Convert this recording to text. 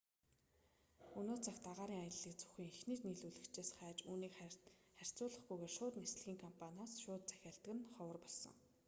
өнөө цагт агаарын аяллыг зөвхөн эхний нийлүүлэгчээс хайж үнийг харьцуулахгүйгээр шууд нислэгийн компаниас шууд захиалдаг нь ховхр болсон